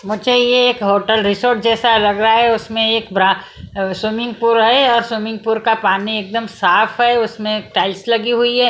मुझे ये एक होटल रिसॉर्ट जैसा लग रहा है उसमें एक ब्रा अ स्विमिंगपुर है और स्विमिंगपुर का पानी एक दम साफ है उसमें एक टाइल्स लगी हुई है।